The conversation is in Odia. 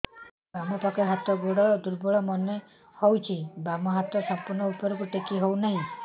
ବାମ ପାଖ ହାତ ଗୋଡ ଦୁର୍ବଳ ମନେ ହଉଛି ବାମ ହାତ ସମ୍ପୂର୍ଣ ଉପରକୁ ଟେକି ହଉ ନାହିଁ